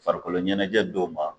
Farikoloɲɛnɛjɛ dow ma